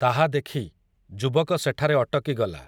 ତାହା ଦେଖି, ଯୁବକ ସେଠାରେ ଅଟକିଗଲା ।